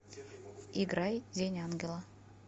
играй день ангела